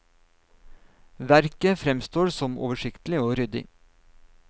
Verket fremstår som oversiktlig og ryddig.